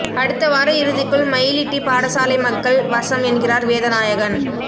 அடுத்த வார இறுதிக்குள் மயிலிட்டி பாடசாலை மக்கள் வசம் என்கிறார் வேதநாயகன்